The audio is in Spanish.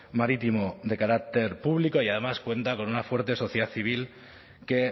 marítimo de carácter público y además cuenta con una fuerte sociedad civil que